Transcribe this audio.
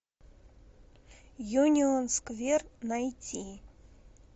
юнион сквер найти